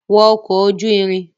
Wọ ọkọ̀ ojú ìrìn!